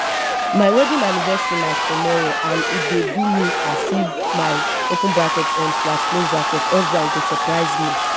my wedding anniversary na tomorrow and e dey do me as if my open bracket um slash close bracket husband go surprise me